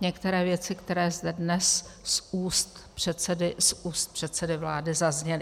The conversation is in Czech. některé věci, které zde dnes z úst předsedy vlády zazněly.